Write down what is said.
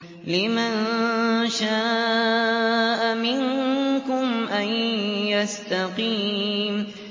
لِمَن شَاءَ مِنكُمْ أَن يَسْتَقِيمَ